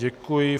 Děkuji.